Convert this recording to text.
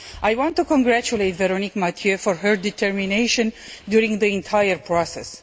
I want to congratulate Véronique Mathieu for her determination during the entire process